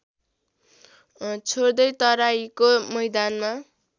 छोड्दै तराइको मैदानमा